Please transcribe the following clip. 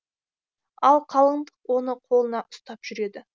ал қалыңдық оны қолына ұстап жүреді